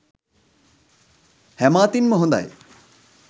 හැම අතින් ම හොඳයි.